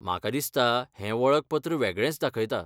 म्हाका दिसता हें वळखपत्र वेगळेंच दाखयता.